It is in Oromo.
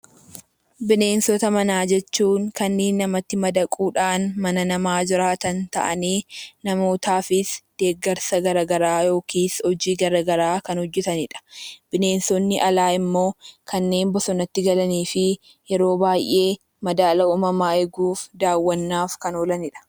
Bineensota manaa jechuun kanneen namatti madaquudhaan mana namaa jiraatan ta'aniinamootaafis deeggarsa garaagaraa hojii garaagaraa kan hojjatanidha. Bineensonni alaa immoo kanneen bosonatti galanii fi yeroo baay'ee madaala uumamaa eeguuf daawwannaaf kan oolanidha.